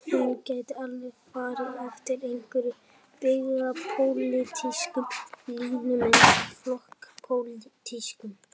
Hún gæti alveg farið eftir einhverjum byggðapólitískum línum eins og flokkspólitískum.